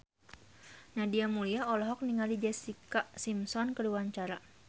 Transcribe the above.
Nadia Mulya olohok ningali Jessica Simpson keur diwawancara